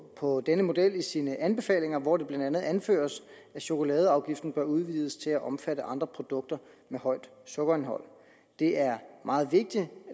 på denne model i sine anbefalinger hvor det blandt andet anføres at chokoladeafgiften bør udvides til at omfatte andre produkter med højt sukkerindhold det er meget vigtigt at